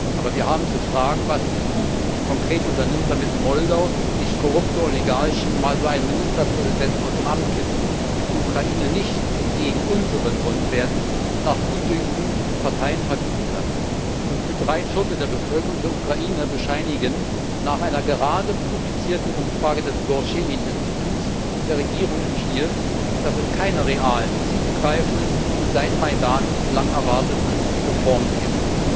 Aber wir haben zu fragen, was die EU konkret unternimmt, damit in Moldau nicht korrupte Oligarchen mal so einen Ministerpräsidenten aus dem Amt kippen, die Ukraine nicht entgegen unseren Grundwerten nach Gutdünken Parteien verbieten kann. Gut drei Viertel der Bevölkerung der Ukraine bescheinigen nach einer gerade publizierten Umfrage des Gorschenin Instituts der Regierung in Kiew, dass es keine realen, tiefgreifenden und seit den Majdan Protesten lang erwarteten Reformen gibt.